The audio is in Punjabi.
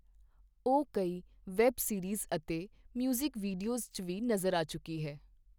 ਉਹ ਕਈ ਵੈੱਬ ਸੀਰੀਜ਼ ਅਤੇ ਮਿਊਜ਼ਿਕ ਵੀਡੀਓਜ਼ ਵਿੱਚ ਵੀ ਨਜ਼ਰ ਆ ਚੁੱਕੀ ਹੈ।